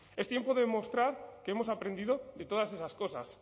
es tiempo de demostrar que hemos aprendido de todas esas cosas